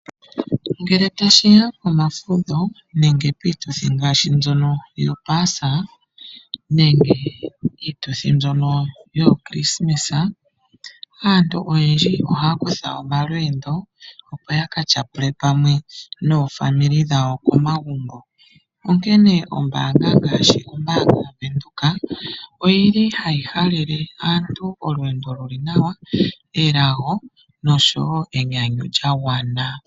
Ngele tashiya komafudho nenge piituthi ngaashi mbyono yopaasa nenge iituthi mbyono yevalo lyomukulili aantu oyendji oha kutha omalweendo opo yaka tyapule pamwe noofamilu dhawo komagumbo onkene ombanga ngaashi ombanga yaBank Windhoek oyili hayi halele aantu olweendo luli nawa, elago noshowo enyanyu lyagwana.